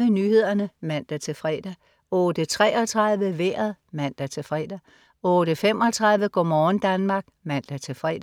08.30 Nyhederne (man-fre) 08.33 Vejret (man-fre) 08.35 Go' morgen Danmark (man-fre)